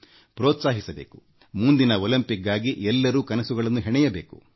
ಪ್ರತಿಯೊಬ್ಬರೂ ಮುಂದಿನ ಒಲಿಂಪಿಕ್ಸ್ ನ ಕನಸು ಕಾಣಬೇಕು